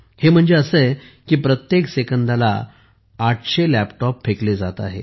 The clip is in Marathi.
हे म्हणजे असे आहे की प्रत्येक सेकंदाला 800 लॅपटॉप फेकले जात आहेत